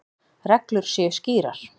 Reglur séu skýrar.